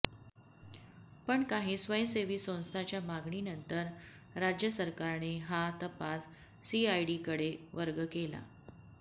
पण काही स्वयंसेवी संस्थांच्या मागणीनंतर राज्य सरकारने हा तपास सीआयडीकडे वर्ग केला